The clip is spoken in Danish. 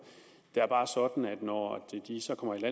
det er bare sådan at når de så kommer